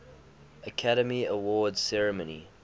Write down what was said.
academy awards ceremony